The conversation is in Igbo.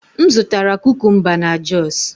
M zụtara kukumba na jos